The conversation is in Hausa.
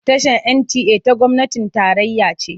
Tashar NTA ta gwamnatin tarayya ce.